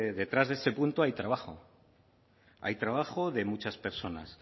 detrás de ese punto hay trabajo hay trabajo de muchas personas